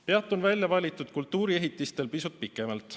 Peatun väljavalitud kultuuriehitistel pisut pikemalt.